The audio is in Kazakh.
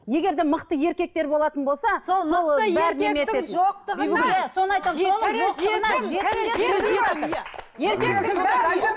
егер де мықты еркектер болатын болса